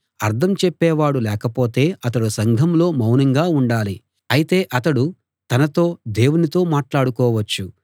అర్థం చెప్పేవాడు లేకపోతే అతడు సంఘంలో మౌనంగా ఉండాలి అయితే అతడు తనతో దేవునితో మాట్లాడుకోవచ్చు